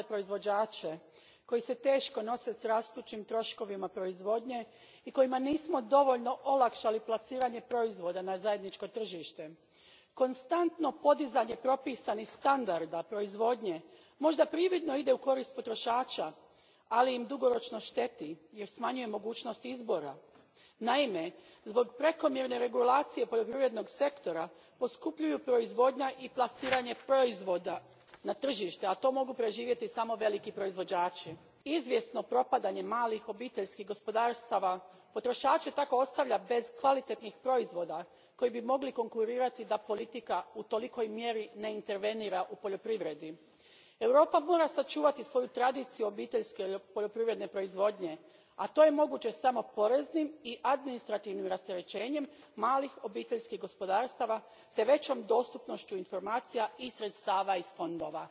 Gospodine predsjedniče, u mojoj zemlji Hrvatskoj kriza u poljoprivrednom sektoru nesumnjivo najteže pogađa male proizvođače koji se teško nose s rastućim troškovima proizvodnje i kojima nismo dovoljno olakšali plasiranje proizvoda na zajedničko tržište. Konstantno podizanje propisanih standarda proizvodnje možda prividno ide u korist potrošača, ali im dugoročno šteti jer smanjuje mogućnost izbora. Naime, zbog prekomjerne regulacije poljoprivrednog sektora poskupljuju proizvodnja i plasiranje proizvoda na tržište, a to mogu preživjeti samo veliki proizvođači. Izvjesno propadanje malih obiteljskih gospodarstava potrošače tako ostavlja bez kvalitetnih proizvoda koji bi mogli biti konkurentni da politika u tolikoj mjeri ne intervenira u poljoprivredi. Europa mora sačuvati svoju tradiciju obiteljske poljoprivredne proizvodnje, a to je moguće samo poreznim i administrativnim rasterećenjem malih obiteljskih gospodarstava te većom dostupnošću informacija i sredstava iz fondova.